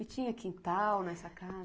E tinha quintal nessa casa?